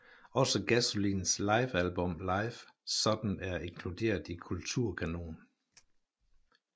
Også Gasolins livealbum Live sådan er inkluderet i Kulturkanon